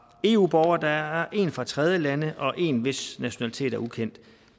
eu borgere der er en fra tredjelande og en hvis nationalitet er ukendt